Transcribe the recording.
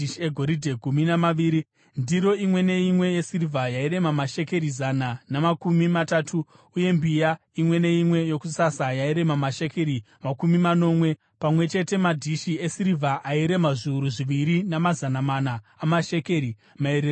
Ndiro imwe neimwe yesirivha yairema mashekeri zana namakumi matatu uye mbiya imwe neimwe yokusasa yairema mashekeri makumi manomwe. Pamwe chete madhishi esirivha airema zviuru zviviri namazana mana amashekeri , maererano neshekeri renzvimbo tsvene.